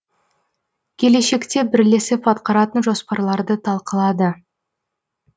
келешекте бірлесіп атқаратын жоспарларды талқылады